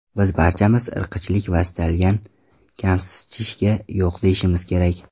Biz barchamiz irqchilik va istlagan kamsitishga yo‘q deyishimiz kerak.